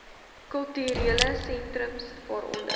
kulturele sentrums waaronder